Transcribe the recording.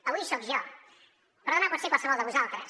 avui soc jo però demà pot ser qualsevol de vosaltres